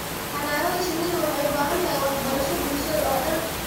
Xannaanada shinnidu waxay u baahan tahay waxbarasho bulshada oo dhan.